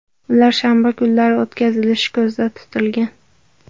Ular shanba kunlari o‘tkazilishi ko‘zda tutilgan.